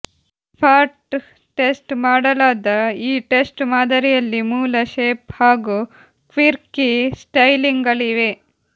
spot test ಮಾಡಲಾದ ಈ test ಮಾದರಿಯಲ್ಲಿ ಮೂಲ ಶೇಪ್ ಹಾಗೂ ಕ್ವಿರ್ಕಿ ಸ್ಟೈಲಿಂಗ್ಗಳಿವೆ